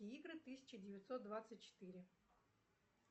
игры тысяча девятьсот двадцать четыре